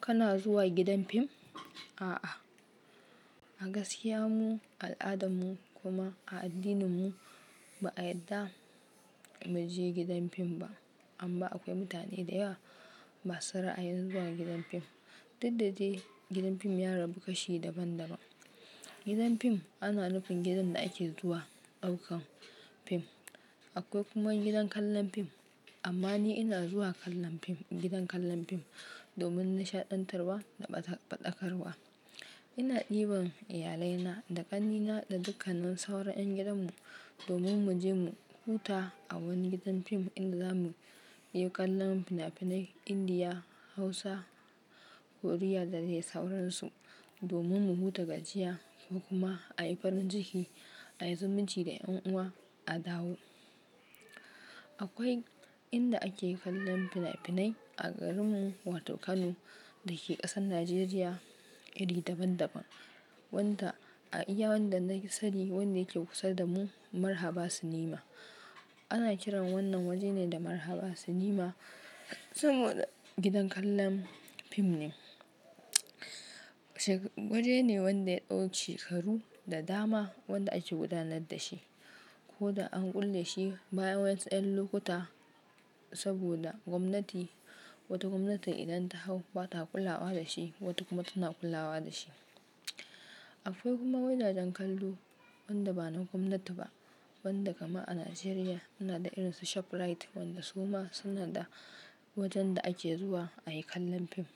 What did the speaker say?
Kana zuwa gidan fim? A'a, a gaskiya mu al'adanmu kuma a addininmu ba a yarda mu je gidan fim ba. Amma akwai mutane da yawa ma su ra'ayin zuwa gidan fim. Dukda dai gidan fim ya rabu kashi daban daban. Gidan fim ana nufin gidan da ake zuwa ɗaukan fim. Akwai kuma gidan kallon fim. Amma ni ina zuwa kallon fim gidan kallon fim domin nishaɗantarwa da faɗakarwa. Ina ɗiban iyalaina da ƙannina da dukkanan sauran ƴan gidan mu domin mu je mu huta a wani gidan fim inda za mu yi kallon fina finai Indiya, Hausa, Koriya da dai sauransu. Domin mu huta gajiya da kuma a yi farin ciki, a yi zumunci da ƴan'uwa a dawo. Akwai inda ake kallon finafinai a garinmu wato Kano da ke ƙasar Najeriya iri daban daban. Wanda a iya wanda na kusa ne wanda yake kusa da mu Marhaba Cinema. Ana kiran wannan waje ne da Marhaba Cinema saboda gidan kallon fim ne. Waje ne wanda ya ɗau shekaru da dama wanda ake gudanar da shi ko da an kulle shi bayan wasu ƴan lokuta saboda gwamnati wata gwamnati idan ta hau ba ta kulawa da shi, wata kuma tana kulawa da shi. Akwai kuma gidajen kallo wanda ba na gwamnati ba wanda kama a Najeriya suna da irin su Shoprite wanda su ma suna da wajen da ake zuwa a yi kallon fim.